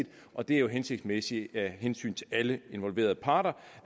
og det er jo hensigtsmæssigt af hensyn til alle involverede parter